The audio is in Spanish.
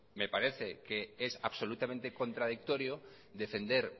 me parece que es absolutamente contradictorio defender